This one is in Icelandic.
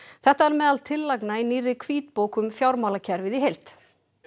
þetta er meðal tillagna í nýrri hvítbók um fjármálakerfið í heild